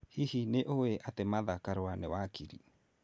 Hihi nĩ ũĩ atĩ Martha Karua nĩ wakiri?